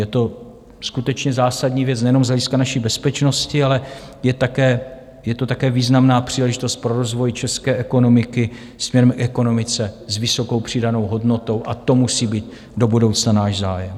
Je to skutečně zásadní věc nejenom z hlediska naší bezpečnosti, ale je to také významná příležitost pro rozvoj české ekonomiky směrem k ekonomice s vysokou přidanou hodnotou, a to musí být do budoucna náš zájem.